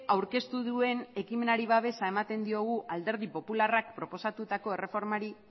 aurkeztu duen ekimenari babesa ematen diogu alderdi popularrak proposatutako erreformari